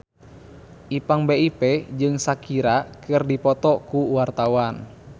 Ipank BIP jeung Shakira keur dipoto ku wartawan